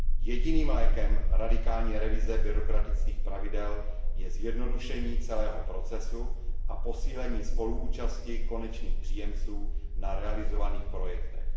Jediným prostředkem radikální revize byrokratických pravidel je zjednodušení celého procesu a posílení spoluúčasti konečných příjemců na realizovaných projektech.